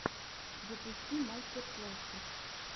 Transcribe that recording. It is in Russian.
запусти мастер классы